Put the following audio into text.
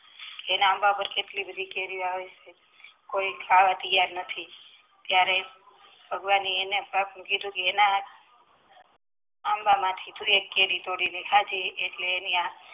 એના આંબા પર કેટલી બધી કેરીઓ આવે છે કોઈ ખાવા તૈયાર નથી ત્યરેહ ભગવાન ને એના એના આંબામાંથી એક કેરી તોડી ને ખાધી એટલે